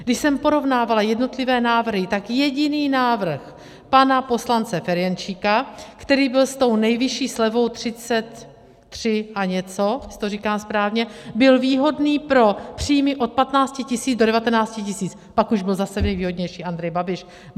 Když jsem porovnávala jednotlivé návrhy, tak jediný návrh pana poslance Ferjenčíka, který byl s tou nejvyšší slevou 33 a něco, jestli to říkám správně, byl výhodný pro příjmy od 15 000 do 19 000, pak už byl zase nejvýhodnější Andrej Babiš.